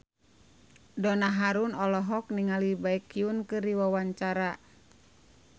Donna Harun olohok ningali Baekhyun keur diwawancara